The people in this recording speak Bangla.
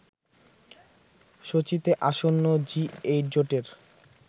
সোচিতে আসন্ন জি-এইট জোটের